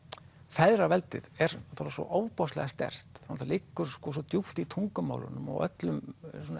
feðraveldið er svo ofboðslega sterkt það liggur svo djúpt í tungumálinu og öllum